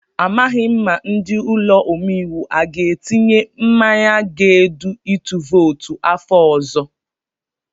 Amaghị m ma ndị ụlọ omeiwu aga etinye mmanye ga-edu itu vootu afọ ọzọ.